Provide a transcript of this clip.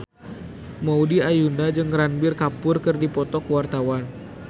Maudy Ayunda jeung Ranbir Kapoor keur dipoto ku wartawan